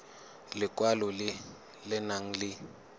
lekwalo le le nang le